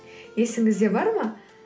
есіңізде бар ма